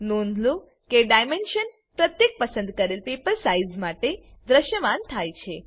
નોંધ લો કે ડાઈમેન્શન પ્રત્યેક પસંદ કરેલ પેપર સાઈઝ માટે દ્રશ્યમાન થાય છે